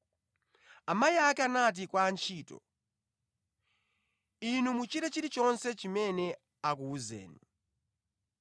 Amayi ake anati kwa antchito, “Inu muchite chilichonse chimene akuwuzeni.”